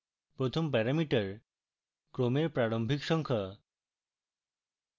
প্রথম প্যারামিটার ক্রমের প্রারম্ভিক সংখ্যা